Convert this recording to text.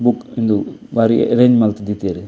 ಉಂದು ಬಾರಿ ಎರೇಂಜ್ ಮಲ್ತ್ ದೀತೆರ್.